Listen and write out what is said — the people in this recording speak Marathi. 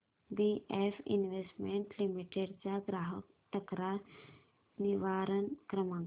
बीएफ इन्वेस्टमेंट लिमिटेड चा ग्राहक तक्रार निवारण क्रमांक